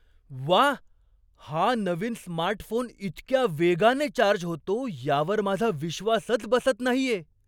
व्वा, हा नवीन स्मार्टफोन इतक्या वेगाने चार्ज होतो यावर माझा विश्वासच बसत नाहीये!